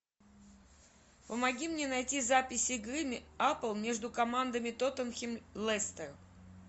помоги мне найти запись игры апл между командами тоттенхэм лестер